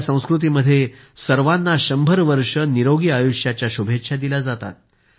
आपल्या संस्कृतीत सर्वांना शंभर वर्ष निरोगी आयुष्याच्या शुभेच्छा दिल्या जातात